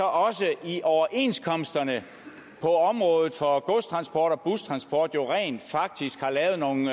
også i overenskomsterne på området for godstransport og bustransport rent faktisk er lavet nogle